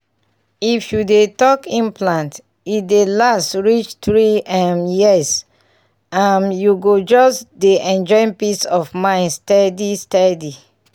if you dey talk implant e dey last reach three um years — um you go just dey enjoy peace of mind steady steady.